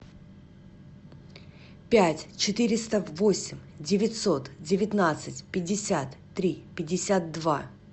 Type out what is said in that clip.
пять четыреста восемь девятьсот девятнадцать пятьдесят три пятьдесят два